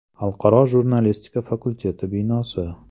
Xalqaro jurnalistika fakulteti binosi.